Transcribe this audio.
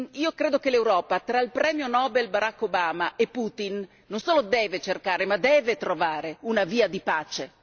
Io credo che l'Europa, tra il Premio Nobel Barak Obama e Putin, non solo deve cercare ma deve trovare una via di pace.